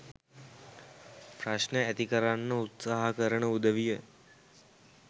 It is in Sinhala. ප්‍රශ්න ඇති කරන්න උත්සාහ කරන උදවිය.